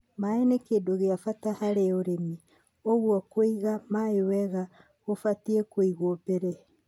Maĩ nĩ kĩndũ gĩa bata harĩ ũrĩmi, ũguo kũiga maĩ wega gũbatie kũigwo mbere.